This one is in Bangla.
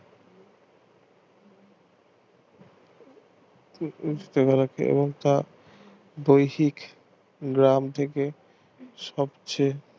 এবং তা দৈহিক গ্রাম থেকে সবচেয়ে